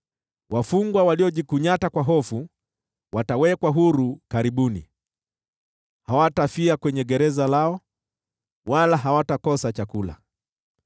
Wafungwa waliojikunyata kwa hofu watawekwa huru karibuni; hawatafia kwenye gereza lao, wala hawatakosa chakula.